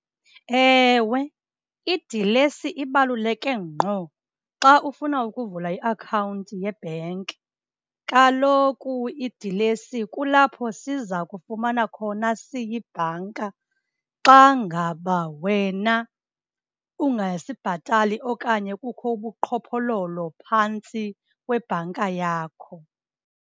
Ewe idilesi ibaluleke ngqo xa ufuna ukuvula iakhawunti yebhenki. Kaloku idilesi kulapho siza kufumana khona siyibhanka xa ngaba wena ungasibhatali okanye kukho ubuqhophololo phantsi kwebhanka yakho.